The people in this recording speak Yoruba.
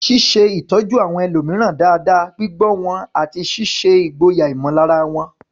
Ṣíṣe ìtọ́jú àwọn ẹlòmíràn dáadáa, gbígbọ́ wọn, àti ṣíṣe ìgboyà ìmọ̀lára wọn.